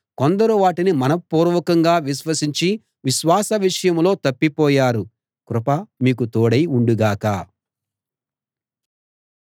కొందరు వాటిని మనఃపూర్వకంగా విశ్వసించి విశ్వాసం విషయంలో తప్పిపోయారు కృప మీకు తోడై ఉండు గాక